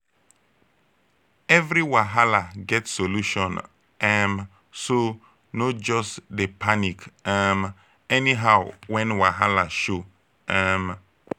evri wahala get solution um so no jus dey panic um anyhow wen wahala show um